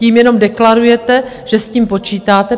Tím jenom deklarujete, že s tím počítáte.